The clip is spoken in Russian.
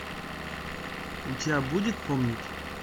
у тебя будет помнить